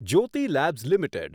Jyoti labs limited